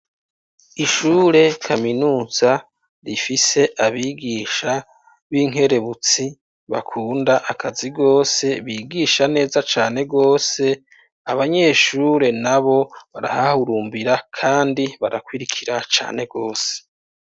Ishure kaminuza rifise abigisha b'inkerebutsi, bakunda akazi rwose, bigisha neza cane rwose. Abanyeshure n'abo, barahahurumbira kandi barakurikira cane rwose.